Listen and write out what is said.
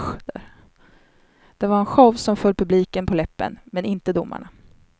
Det var en show som föll publiken på läppen, men inte domarna.